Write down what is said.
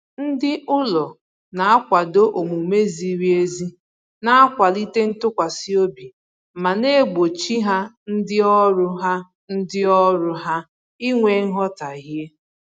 Ndị ụlọ na-akwado omume ziri ezi na-akwalite ntụkwasị obi ma na-egbochi ha ndị ọrụ ha ndị ọrụ ha inwe nghọtahie